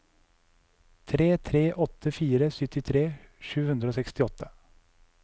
tre tre åtte fire syttitre sju hundre og sekstiåtte